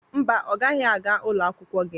Mba, ọ gaghị aga ụlọ akwụkwọ gị.